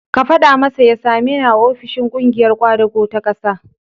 Ka faɗa masa ya sameni a ofishin ƙungiyar ƙwadago ta ƙasa.